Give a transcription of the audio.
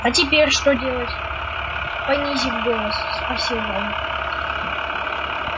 а теперь что делать понизив голос спросил рон